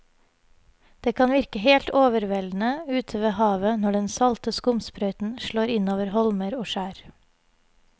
Det kan virke helt overveldende ute ved havet når den salte skumsprøyten slår innover holmer og skjær.